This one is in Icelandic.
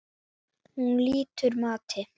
Hún lýtur mati.